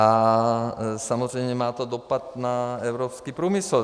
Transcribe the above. A samozřejmě to má dopad na evropský průmysl.